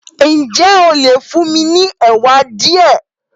Ǹjẹ́ ó lè fún mi ní ẹ̀wà díẹ̀?